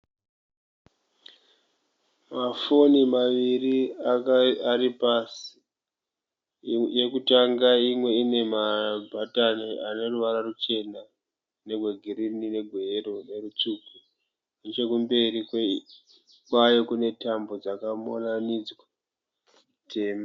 Mafoni maviri angave ari pasi. Yekutanga imwe ine mabhatani ane ruvara ruchena negwe girini negwe yero nerutsvuku. Nechekumberi kwayo kune tambo dzakamonanidza tema.